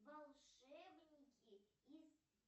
волшебники из